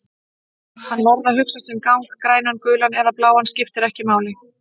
Hann varð að hugsa sinn gang, grænan, gulan eða bláan, skipti ekki máli.